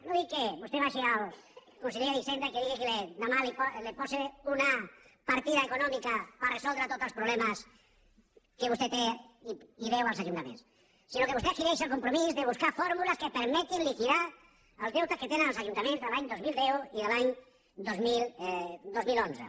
no dic que vostè vagi al conseller d’hisenda i que li digui que demà li posi una partida econòmica per resoldre tots els problemes que vostè té i deu als ajuntaments sinó que vostè adquireixi el compromís de buscar fórmules que permetin liquidar el deute que tenen els ajuntaments de l’any dos mil deu i de l’any dos mil onze